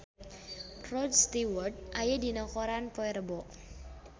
Rod Stewart aya dina koran poe Rebo